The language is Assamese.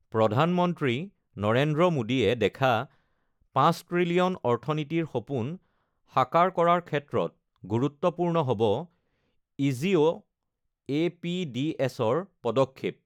প্ৰধানমন্ত্ৰী নৰেন্দ্ৰ মো়ডীয়ে দেখা ৫ত্ৰিলিয়ন অৰ্থনীতিৰ সপোন সাকাৰ কৰাৰ ক্ষেত্ৰত গুৰুত্বপূৰ্ণ হ'ব ইজিঅ এছ পিডিএছ ৰ পদক্ষেপ